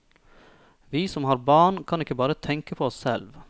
Vi som har barn, kan ikke bare tenke på oss selv.